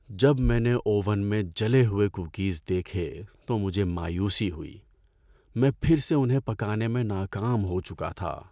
جب میں نے اوون میں جلے ہوئے کوکیز دیکھے تو مجھے مایوسی ہوئی۔ میں پھر سے انہیں پکانے میں ناکام ہو چکا تھا۔